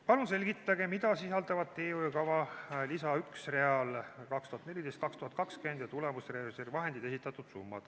Palun selgitage, mida sisaldavad teehoiukava lisa 1 real "2014–2020 ja tulemusreservi vahendid" esitatud summad!